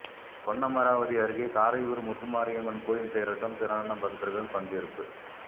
பொன்னமராவதி அருகே காரையூர் முத்துமாரியம்மன் கோயில் தேரோட்டம் திரளான பக்தர்கள் பங்கேற்பு